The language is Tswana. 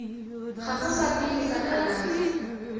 gago sa pele sa kalafi